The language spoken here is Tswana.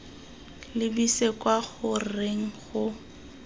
lebise kwa go reng go